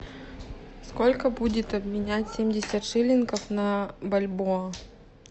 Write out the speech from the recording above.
сколько будет обменять семьдесят шиллингов на бальбоа